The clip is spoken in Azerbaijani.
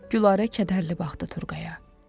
Gülarə kədərlə baxdı Turqaya.